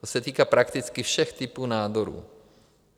To se týká prakticky všech typů nádorů.